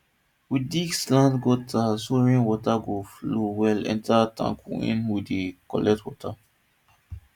we dig slant gutter so rain water go flow well enter the tank wey we dey collect water